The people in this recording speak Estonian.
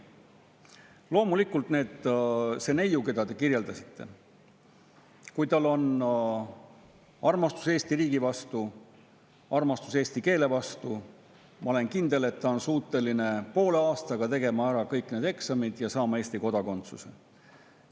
Loomulikult, kui sellel neiul, keda te kirjeldasite, on armastus Eesti riigi vastu, armastus eesti keele vastu, siis ma olen kindel, et ta on suuteline poole aastaga tegema ära kõik need eksamid ja saama Eesti kodakondsuse.